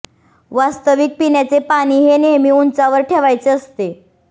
वास्तविक पिण्याचे पाणी हे नेहमी उंचावर ठेवायचे असते